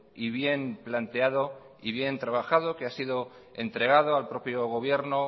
y bien planteado y bien trabajado que ha sido entregado al propio gobierno